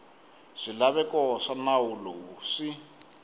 swilaveko swa nawu lowu swi